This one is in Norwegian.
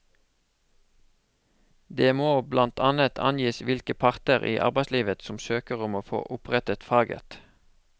Det må blant annet angis hvilke parter i arbeidslivet som søker om å få opprettet faget.